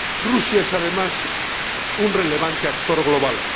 Rusia es, además, un relevante actor global.